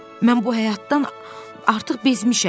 Mən bu həyatdan artıq bezmişəm.